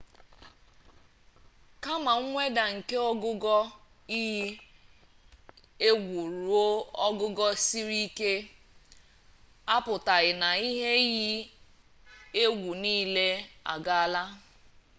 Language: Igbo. kama mweda nke ogugo iyi egwu ruo ogugo siri ike apụtaghị na ihe iyi egwu nile agaala